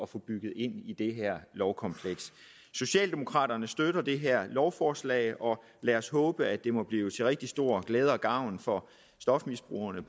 få bygget ind i det her lovkompleks socialdemokraterne støtter det her lovforslag lad os håbe at det må blive til rigtig stor glæde og gavn for stofmisbrugerne